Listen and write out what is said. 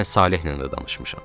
Mən Salehlə də danışmışam.